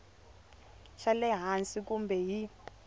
xa le hansi kambe hi